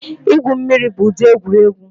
Igwu mmiri bụ ụdị egwuregwu